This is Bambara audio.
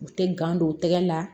U tɛ gan don tɛgɛ la